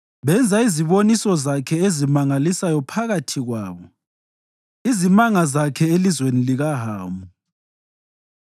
Benza iziboniso zakhe ezimangalisayo phakathi kwabo, izimanga zakhe elizweni likaHamu.